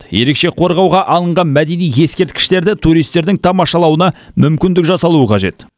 ерекше қорғауға алынған мәдени ескерткіштерді туристердің тамашалауына мүмкіндік жасалуы қажет